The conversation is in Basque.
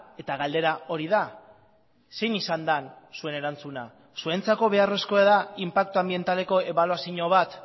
eta galdera hori da zein izan den zuen erantzuna zuentzako beharrezkoa da inpaktu anbientaleko ebaluazio bat